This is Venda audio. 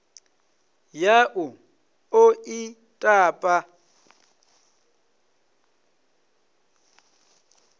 ya u ḓo ḽi tapa